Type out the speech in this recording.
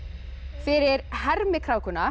fyrir